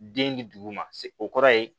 Den di dugu ma se o kɔrɔ ye